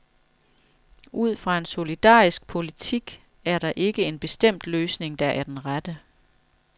Ud fra en solidarisk politik er der ikke en bestemt løsning, der er den rette.